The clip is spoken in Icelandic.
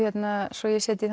svo ég setji